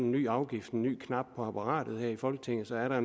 ny afgift en ny knap på apparatet her i folketinget så er der